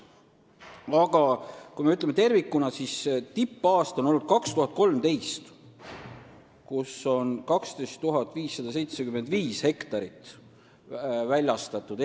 Aga kui me vaatame seda tervikuna, siis tippaasta oli 2013, kui raielubasid väljastati 12 575 hektari kohta.